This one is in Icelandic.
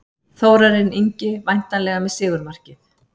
Þórarinn Ingi væntanlega með sigurmarkið.